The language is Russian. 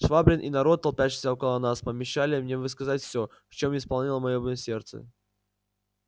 швабрин и народ толпящийся около нас помешали мне высказать всё в чём исполнено было моё сердце